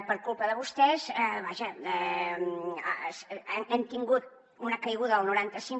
per culpa de vostès vaja hem tingut una caiguda del noranta cinc